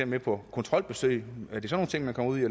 med på kontrolbesøg